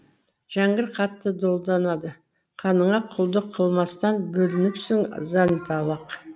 жәңгір қатты долданады қаныңа құлдық қылмастан бөлініпсің зәнталақ